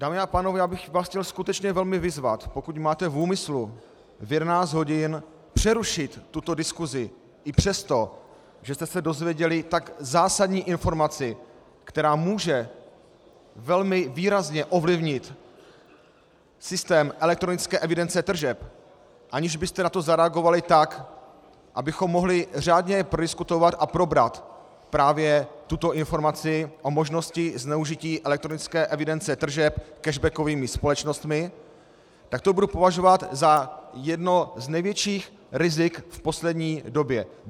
Dámy a pánové, já bych vás chtěl skutečně velmi vyzvat, pokud máte v úmyslu v 11 hodin přerušit tuto diskusi i přesto, že jste se dozvěděli tak zásadní informaci, která může velmi výrazně ovlivnit systém elektronické evidence tržeb, aniž byste na to zareagovali tak, abychom mohli řádně prodiskutovat a probrat právě tuto informaci o možnosti zneužití elektronické evidence tržeb cashbackovými společnostmi, tak to budu považovat za jedno z největších rizik v poslední době.